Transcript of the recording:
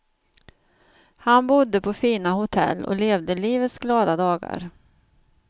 Han bodde på fina hotell och levde livets glada dagar.